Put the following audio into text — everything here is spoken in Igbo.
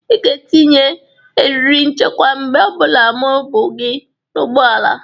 Ị ga-etinye eriri nchekwa mgbe ọ bụla m bụ gị n'ụgbọala!